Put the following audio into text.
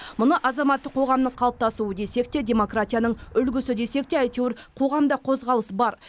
мұны азаматтық қоғамның қалыптасуы десек те демократияның үлгісі десек те әйтеуір қоғамда қозғалыс бар